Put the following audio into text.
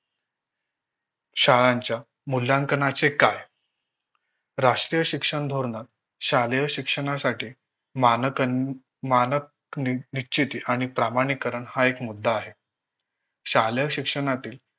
शाळांच्या मुल्याकंना चे काय? राष्ट्रीय शिक्षण धोरण शालेय शिक्षणासाठी मानकं मानक निश्चिती आणि प्रामणिकरन हा एक मुद्दा आहे.